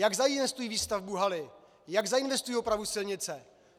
Jak zainvestují výstavbu haly, jak zainvestují opravu silnice?